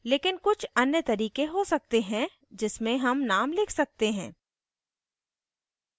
लेकिन कुछ अन्य तरीके हो सकते हैं जिसमें names names लिख सकते हैं